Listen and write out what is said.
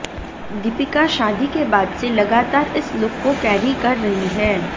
दीपिका शादी के बाद से लगातार इस लुक को कैरी कर रही हैं